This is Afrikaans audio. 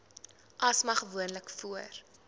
asma gewoonlik voor